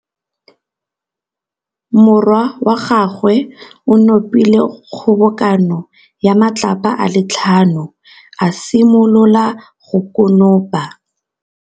Morwa wa gagwe o nopile kgobokanô ya matlapa a le tlhano, a simolola go konopa.